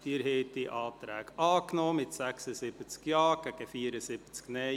Abstimmung (Anträge FDP – Nicht-Abschreiben der Postulate 057-2017, 059-2017 und 060-2017)